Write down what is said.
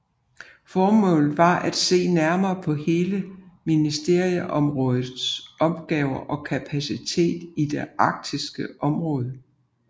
Formålet var at se nærmere på hele ministerområdets opgaver og kapaciteter i det arktiske område